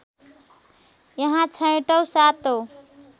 यहाँ छैटौँ सातौँ